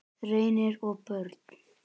Reynir og börn.